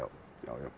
já já